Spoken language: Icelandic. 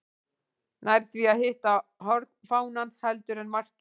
Nær því að hitta hornfánann heldur en markið.